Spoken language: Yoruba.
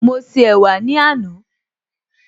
Mo ṣe ẹ̀wà ní àná